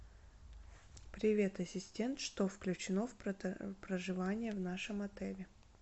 привет ассистент что включено в проживание в нашем отеле